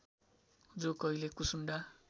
जो कहिले कुसुण्डा